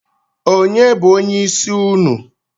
Onye bụ onyeisi ụnụ?